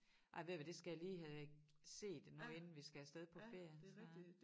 Ej ved I hvad det skal jeg lige have set nu inden vi skal af sted på ferie så